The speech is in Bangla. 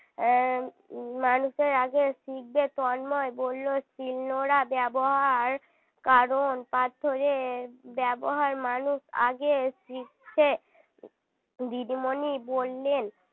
আহ মানুষ এর আগে শিখবে তন্ময় বলল শিলনোড়া ব্যবহার কারণ পাথরে ব্যবহার মানুষ আগে শিখছে দিদিমনি বললেন